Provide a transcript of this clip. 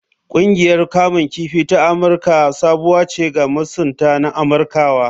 Ƙungiyar kamun kifi ta Amirka sabuwa ce ga masunta na Amirkawa.